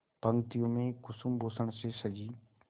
पंक्तियों में कुसुमभूषण से सजी